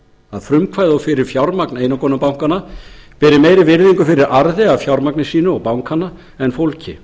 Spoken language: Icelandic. að frumkvæði og fyrir fjármagn einokunarbankanna beri meiri virðingu fyrir arði af fjármagni sínu og bankanna en fólki